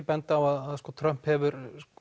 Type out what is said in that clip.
benda á að Trump hefur